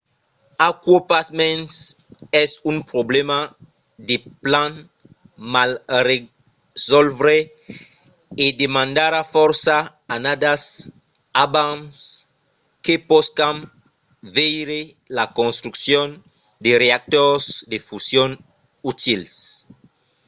aquò pasmens es un problèma de plan mal resòlvre e demandarà fòrça annadas abans que poscam veire la construccion de reactors de fusion utils